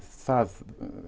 það